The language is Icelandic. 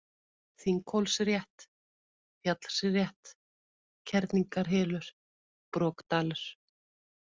Þinghólsrétt, Fjallsrétt, Kerlingarhylur, Brokdalur